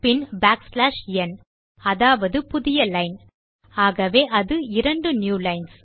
பின் backslash n அதாவது புதிய line ஆகவே அது 2 நியூ லைன்ஸ்